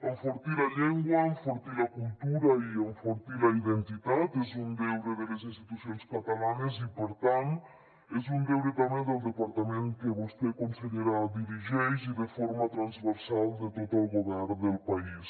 enfortir la llengua enfortir la cultura i enfortir la identitat és un deure de les institucions catalanes i per tant és un deure també del departament que vostè consellera dirigeix i de forma transversal de tot el govern del país